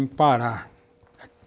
parar.